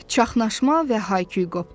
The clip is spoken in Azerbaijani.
Çaxnaşma və hayküy qopdu.